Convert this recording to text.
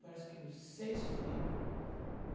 Parece que o seis filhos.